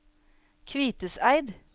Kviteseid